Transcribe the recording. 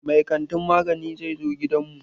Mai kantin magani zai zo gidan mu.